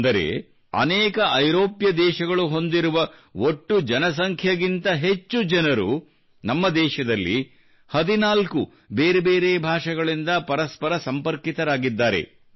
ಅಂದರೆ ಅನೇಕ ಐರೋಪ್ಯ ದೇಶಗಳು ಹೊಂದಿರುವ ಒಟ್ಟು ಜನಸಂಖ್ಯೆಗಿಂತ ಹೆಚ್ಚು ಜನರು ನಮ್ಮ ದೇಶದಲ್ಲಿ 14 ಬೇರೆ ಬೇರೆ ಭಾಷೆಗಳಿಂದ ಪರಸ್ಪರ ಸಂಪರ್ಕಿತರಾಗಿದ್ದಾರೆ